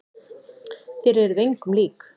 Þér eruð engum lík!